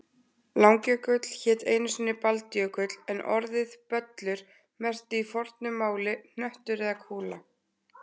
Langjökull hét einu sinni Baldjökull en orðið böllur merkti í fornu máli hnöttur eða kúla.